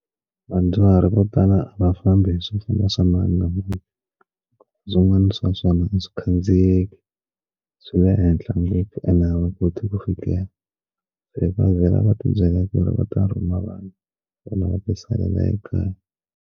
Vadyuhari vo tala a va fambi hi swo famba swa mani na mani swin'wana swa swona a swi khandziyeki swi le ehenhla ngopfu ene a va koti ku fikelela va vhela va tibyela ku ri va ta rhuma vanhu valava ti salela ekaya.